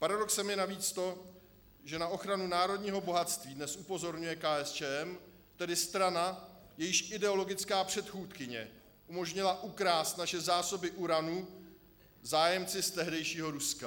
Paradoxem je navíc to, že na ochranu národního bohatství dnes upozorňuje KSČM, tedy strana, jejíž ideologická předchůdkyně umožnila ukrást naše zásoby uranu zájemci z tehdejšího Ruska.